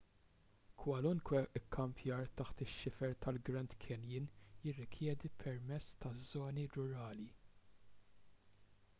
kwalunkwe kkampjar taħt ix-xifer tal-grand canyon jirrikjedi permess taż-żoni rurali